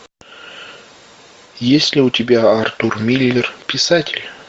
есть ли у тебя артур миллер писатель